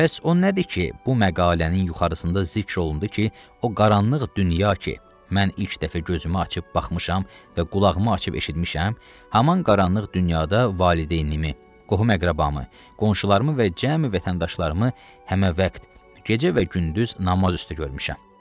Pəs o nədir ki, bu məqalənin yuxarısında zikr olundu ki, o qaranlıq dünya ki, mən ilk dəfə gözümü açıb baxmışam və qulağımı açıb eşitmişəm, həmin qaranlıq dünyada valideynimi, qohum-əqrəbamı, qonşularımı və cəmi vətəndaşlarımı həməvət gecə və gündüz namaz üstə görmüşəm.